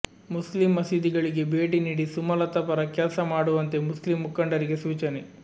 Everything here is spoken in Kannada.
ಮುಸ್ಲಿಂ ಮಸೀದಿಗಳಿಗೆ ಭೇಟಿ ನೀಡಿ ಸುಮಲತಾ ಪರ ಕೆಲ್ಸ ಮಾಡುವಂತೆ ಮುಸ್ಲಿಂ ಮುಖಂಡರಿಗೆ ಸೂಚನೆ